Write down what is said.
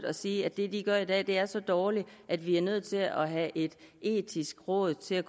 at sige at det de gør i dag er så dårligt at vi er nødt til at have et etisk råd til